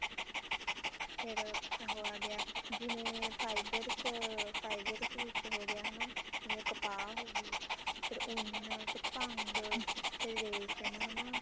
ਫ਼ੇਰ ਉਹ ਆ ਗਿਆ ਜਿਵੇਂ fibers fibers ਵਿੱਚ ਹੋਗਿਆ ਹਨਾ ਜਿਵੇਂ ਕਪਾਹ ਹੋਗੀ ਫ਼ੇਰ ਉੰਨ ਫ਼ੇਰ ਭੰਗ ਫ਼ੇਰ ਰੇਸ਼ਮ ਹਨਾ